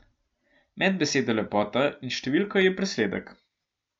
Med besedo lepota in številko je presledek.